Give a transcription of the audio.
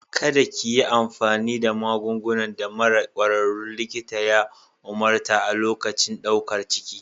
Kada ki yi amfani da magungunan da mara ƙwararrun likita ya umarta a lokacin ɗaukar ciki.